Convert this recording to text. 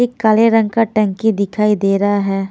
एक काले रंग का टंकी दिखाई दे रहा है।